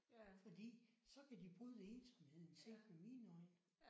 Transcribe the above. Fordi så kan de bryde ensomheden set med mine øjne